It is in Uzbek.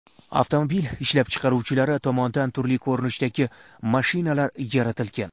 Avtomobil ishlab chiqaruvchilari tomonidan turli ko‘rinishdagi mashinalar yaratilgan.